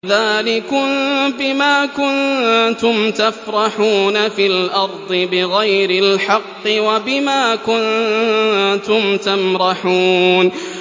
ذَٰلِكُم بِمَا كُنتُمْ تَفْرَحُونَ فِي الْأَرْضِ بِغَيْرِ الْحَقِّ وَبِمَا كُنتُمْ تَمْرَحُونَ